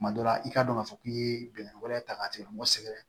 Tuma dɔ la i k'a dɔn k'a fɔ k'i ye bɛnnɛ wɛrɛ ta k'a tigɛ mɔgɔ sɛgɛrɛ